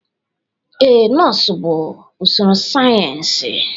Ee, nọọsụ bụ usoro sayensị.